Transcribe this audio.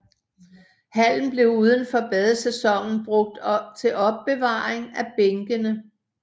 Hallen blev udenfor badesæsonen brugt til opbevaring af bænkene